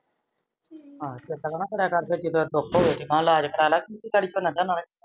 ਚੇਤਾ